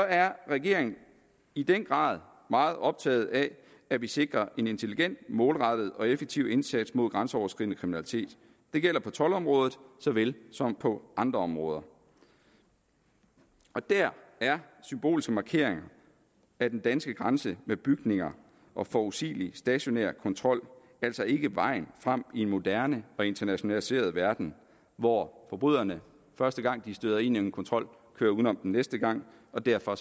er regeringen i den grad meget optaget af at vi sikrer en intelligent målrettet og effektiv indsats mod grænseoverskridende kriminalitet det gælder på toldområdet såvel som på andre områder der er symbolske markeringer af den danske grænse med bygninger og forudsigelig stationær kontrol altså ikke vejen frem i en moderne og internationaliseret verden hvor forbryderne første gang de støder ind i en kontrol kører uden om den næste gang og derfor